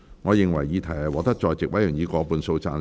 我認為議題獲得在席委員以過半數贊成。